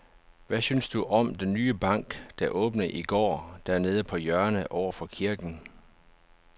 Hvad synes du om den nye bank, der åbnede i går dernede på hjørnet over for kirken?